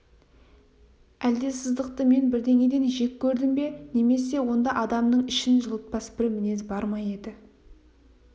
әлде сыздықты мен бірдеңеден жек көрдім бе немесе онда адамның ішін жылытпас бір мінез бар ма еді